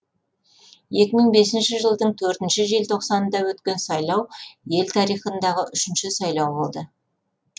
екі мың бесінші жылдың төртінші желтоқсанында өткен сайлау ел тарихындағы үшінші сайлау болды